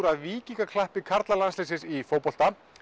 af víkingaklappi karlalandsliðsins í fótbolta